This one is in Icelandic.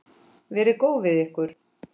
Verið góð við ykkur.